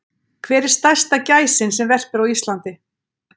Hver er stærsta gæsin sem verpir á Íslandi?